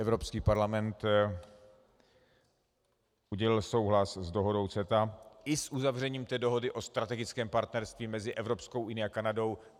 Evropský parlament udělil souhlas s dohodou CETA i s uzavřením té dohody o strategickém partnerství mezi Evropskou unií a Kanadou.